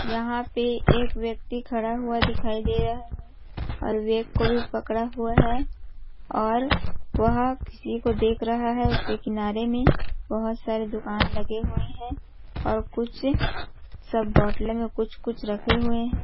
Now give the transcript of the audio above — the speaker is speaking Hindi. यहाँ पे एक व्यक्ति खड़ा हुआ दिखाई दे रहा है और बैग को भी पकड़ा हुआ है और वह किसी को देख रहा है उसके किनारे में बहोत बहु सारे दुकान लगे हुए है और कुछ सब बोतल में कुछ -कुछ रखे हुए है।